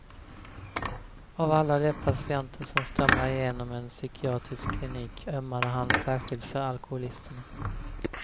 Av alla de patienter som strömmar igenom en psykiatrisk klinik ömmade han särskilt för alkoholisterna.